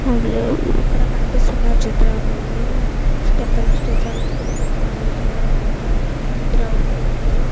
ఇక్కడ కనిపిస్తున్న చిత్రంలో స్టెపల్ స్టెపల్ ఇల్లు కాలేజీ లా ఉన్నట్లా ఉంది గ్రౌండ్ ఉంది.